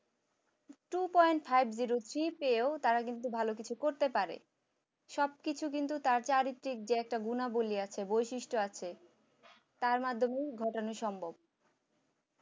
Two point five zero three পেয়েও তারা কিন্তু ভালো কিছু করতে পারে, সবকিছু কিন্তু তার চরিত্রের যে গুণাবলী আছে বৈশিষ্ট্য আছে তার মাধ্যমে ঘটানো সম্ভব